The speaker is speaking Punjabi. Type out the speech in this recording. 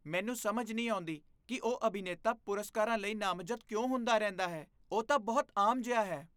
ਮੈਨੂੰ ਸਮਝ ਨਹੀਂ ਆਉਂਦੀ ਕਿ ਉਹ ਅਭਿਨੇਤਾ ਪੁਰਸਕਾਰਾਂ ਲਈ ਨਾਮਜ਼ਦ ਕਿਉਂ ਹੁੰਦਾ ਰਹਿੰਦਾ ਹੈ। ਉਹ ਤਾਂ ਬਹੁਤ ਆਮ ਜਿਹਾ ਹੈ।